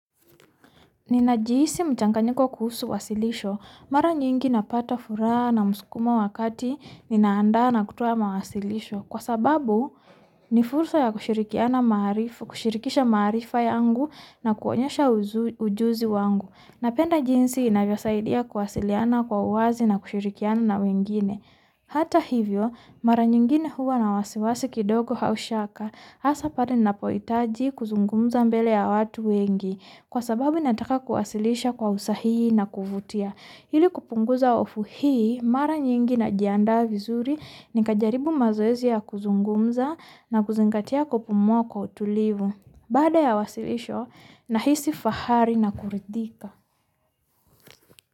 Ninajihisi muchanganyiko kuhusu wasilisho. Mara nyingi napata furaha na muskumo wakati ninaandaa na kutoa mawasilisho kwa sababu nifursa ya kushirikiana maarifu, kushirikisha maarifa yangu na kuonyesha ujuzi wangu. Napenda jinsi inavyo saidia kuwasiliana kwa uwazi na kushirikiana na wengine. Hata hivyo, mara nyingine huwa na wasiwasi kidogo au shaka, hasa pale ninapohitaji kuzungumza mbele ya watu wengi kwa sababu nataka kusilisha kwa usahihi na kuvutia. Ili kupunguza hofu hii, mara nyingi na jianda vizuri, nika jaribu mazoezi ya kuzungumza na kuzingatia kupumua kwa utulivu. Bada ya wasilisho, nahisi fahari na kuridhika.